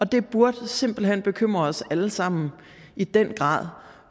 det burde simpelt hen bekymre os alle sammen i den grad